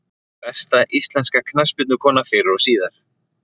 Besta íslenska knattspyrnukonan fyrr og síðar?